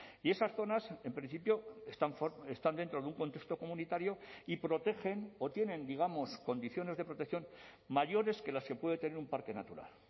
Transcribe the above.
y esas zonas en principio están dentro de un contexto comunitario y protegen o tienen digamos condiciones de protección mayores que las que puede tener un parque natural